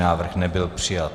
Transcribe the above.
Návrh nebyl přijat.